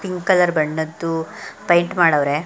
Pink colour ಬಣ್ಣದ್ದು paint ಮಾಡವ್ರೆ.